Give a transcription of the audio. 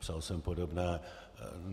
Psal jsem podobné.